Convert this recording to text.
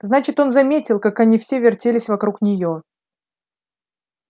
значит он заметил как они все вертелись вокруг нее